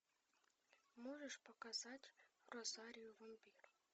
можешь показать розарио вампир